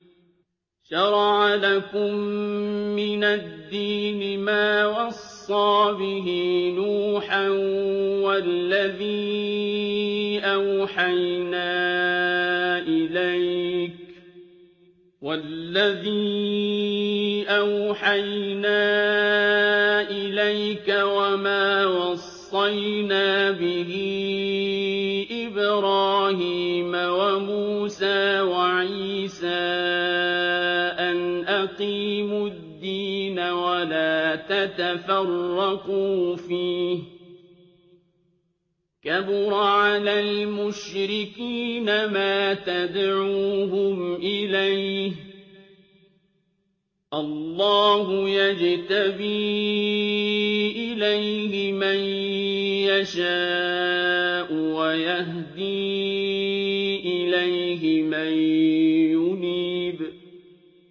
۞ شَرَعَ لَكُم مِّنَ الدِّينِ مَا وَصَّىٰ بِهِ نُوحًا وَالَّذِي أَوْحَيْنَا إِلَيْكَ وَمَا وَصَّيْنَا بِهِ إِبْرَاهِيمَ وَمُوسَىٰ وَعِيسَىٰ ۖ أَنْ أَقِيمُوا الدِّينَ وَلَا تَتَفَرَّقُوا فِيهِ ۚ كَبُرَ عَلَى الْمُشْرِكِينَ مَا تَدْعُوهُمْ إِلَيْهِ ۚ اللَّهُ يَجْتَبِي إِلَيْهِ مَن يَشَاءُ وَيَهْدِي إِلَيْهِ مَن يُنِيبُ